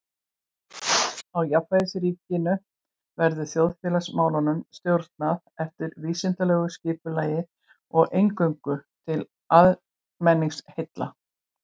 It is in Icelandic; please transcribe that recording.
Í jafnaðarríkinu verður þjóðfélagsmálunum stjórnað eftir vísindalegu skipulagi og eingöngu til almenningsheilla.